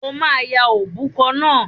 O máa ya òbúkọ náà!